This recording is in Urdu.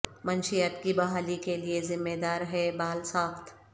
منشیات کی بحالی کے لئے ذمہ دار ہے بال ساخت